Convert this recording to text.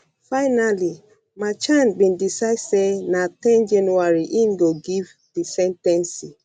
finally merchan bin decide say na ten january im go give di sen ten cing